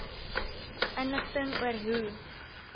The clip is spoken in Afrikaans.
inligting oor hoe